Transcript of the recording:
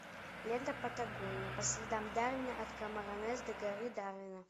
лента патагония по следам дарвина от камаронес до горы дарвина